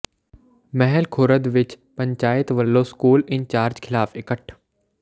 ਮਹਿਲ ਖੁਰਦ ਵਿੱਚ ਪੰਚਾਇਤ ਵੱਲੋਂ school incharge ਖ਼ਿਲਾਫ਼ ਇਕੱਠ